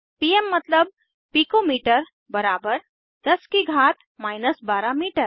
पीम मतलब picometre बराबर 10 की घात 12 मीटर